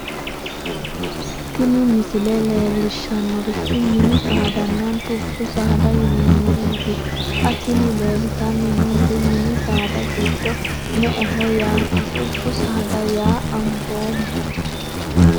tini misile leellishshannorichi mini saadanna dubbu saada yineemmoreeti xa tini leeltanni noori mini saada giddo me*eho yaate dubbu saada yaa ambooma.